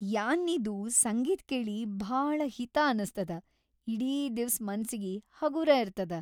ಯಾನ್ನಿದು ಸಂಗೀತ್‌ ಕೇಳಿ ಭಾಳ ಹಿತಾ ಅನಸ್ತದ ಇಡೀ ದಿವ್ಸ್‌ ಮನ್ಸಿಗಿ ಹಗೂರ ಇರ್ತದ.